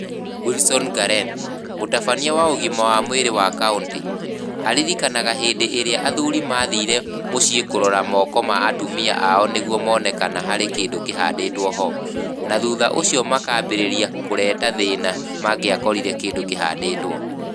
Wilson Ngaren, mũtabania wa ũgima wa mwĩrĩ wa kaũntĩ, aririkanaga hĩndĩ ĩrĩa athuuri maathire mũciĩ kũrora moko ma atumia ao nĩguo moone kana harĩ kĩndũ kĩhandĩtwo ho, na thutha ũcio makaambĩrĩria kũreta thĩĩna mangĩakorire kĩndũ kĩhandĩtwo.